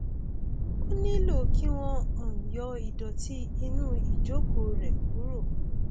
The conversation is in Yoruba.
ó nílò kí wọn um yọ ìdọtí inú ìjókòó rẹ kúrò